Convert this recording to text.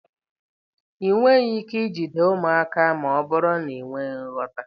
Ị nweghị ike ijide ụmụaka ma ọ bụrụ na ị nweghị nghọta